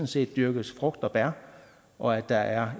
set dyrkes frugter og bær og at der er